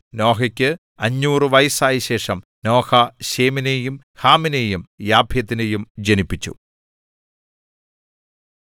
നോഹയ്ക്ക് 500 വയസ്സായശേഷം നോഹ ശേമിനെയും ഹാമിനെയും യാഫെത്തിനെയും ജനിപ്പിച്ചു